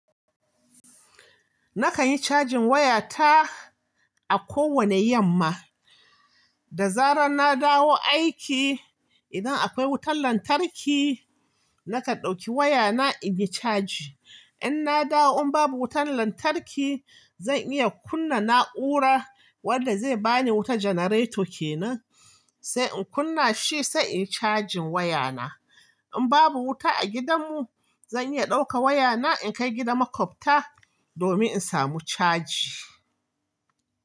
Nakan yi cajin wayata a kowane yamma. Da zarar na dawo aiki, idan akwai wutan lantarki, nakan ɗauki wayana inyi caji. In na dawo in babu wutan lantarki, zan iya kunna na'ura wadda zai bani wuta janareto kenan, sai in kunna shi sai in yi cajin wayana. In babu wuta a gidanmu, zan iya ɗauka wayana in kai gidan makwabta domin in samu caji.